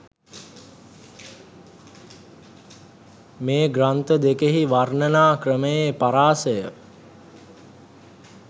මේ ග්‍රන්ථ දෙකෙහි වර්ණනා ක්‍රමයේ පරාසය